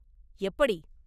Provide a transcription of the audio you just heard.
எப்படி?